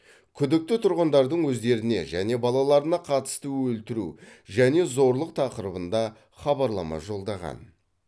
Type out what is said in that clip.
күдікті тұрғындардың өздеріне және балаларына қатысты өлтіру және зорлық тақырыбында хабарлама жолдаған